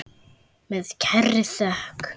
Með kærri þökk.